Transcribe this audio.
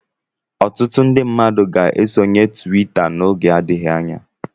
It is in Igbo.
Ọtụtụ ndị mmadụ ga-esonye twita n'oge adịghị anya.